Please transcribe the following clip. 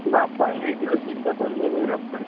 ବାମ୍ଫ ନେଇଥିଲି ତିନି ଚାରିଥର ନେଲିଣି ବାମ୍ଫ।